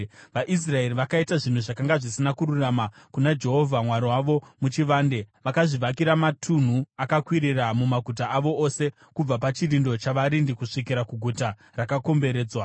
VaIsraeri vakaita zvinhu zvakanga zvisina kururama kuna Jehovha Mwari wavo muchivande. Vakazvivakira matunhu akakwirira mumaguta avo ose, kubva pachirindo chavarindi kusvikira kuguta rakakomberedzwa.